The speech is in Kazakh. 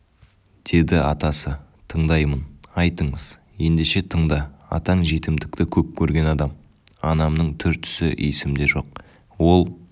деді атасы тыңдаймын айтыңыз ендеше тыңда атаң жетімдікті көп көрген адам анамның түр-түсі есімде жоқ ол